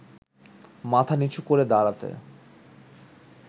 মাথা নিচু করে দাঁড়াতে